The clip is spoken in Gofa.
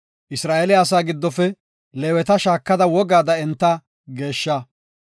“Isra7eele asaa giddofe Leeweta shaakada wogaada enta geeshsha.